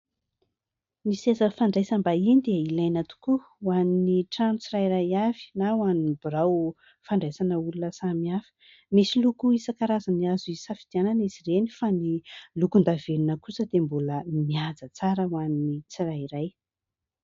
Ny seza fandraisam-bahiny dia ilaina tokoa ho an'ny trano tsirairay avy, na ho an'ny birao fandraisana olona samihafa. Misy loko isan-karazany azo hisafidianana izy ireny fa ny lokon-davenona kosa dia mbola mihaja tsara ho an'ny tsirairay.